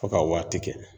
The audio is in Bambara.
Fo ka waati kɛ